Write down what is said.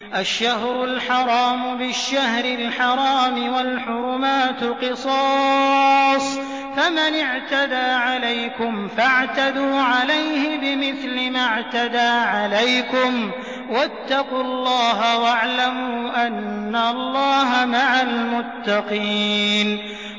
الشَّهْرُ الْحَرَامُ بِالشَّهْرِ الْحَرَامِ وَالْحُرُمَاتُ قِصَاصٌ ۚ فَمَنِ اعْتَدَىٰ عَلَيْكُمْ فَاعْتَدُوا عَلَيْهِ بِمِثْلِ مَا اعْتَدَىٰ عَلَيْكُمْ ۚ وَاتَّقُوا اللَّهَ وَاعْلَمُوا أَنَّ اللَّهَ مَعَ الْمُتَّقِينَ